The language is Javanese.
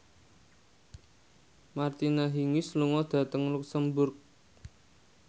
Martina Hingis lunga dhateng luxemburg